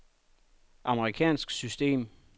amerikansk system